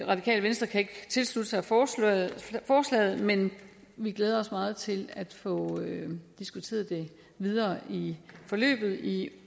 radikale venstre kan ikke tilslutte sig forslaget forslaget men vi glæder os meget til at få diskuteret det videre i forløbet i